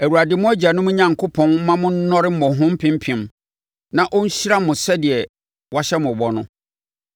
Awurade mo agyanom Onyankopɔn mma mo nnɔre mmɔho mpempem na ɔnhyira mo sɛdeɛ wahyɛ mo bɔ no.